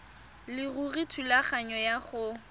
leruri thulaganyo ya go